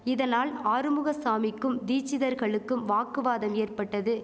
இதனால் ஆறுமுகசாமிக்கும் தீச்சிதர்களுக்கும் வாக்குவாதம் ஏற்பட்டது